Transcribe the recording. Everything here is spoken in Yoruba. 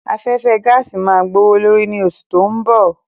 Afẹ́fẹ́ gaàsì máa gbówó leri ni oṣù tó ń bọ̀